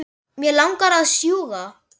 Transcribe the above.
Mig langar að sjúga.